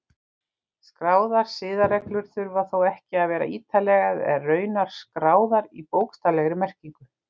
Skráðar siðareglur þurfa þó ekki að vera ítarlegar eða raunar skráðar í bókstaflegri merkingu.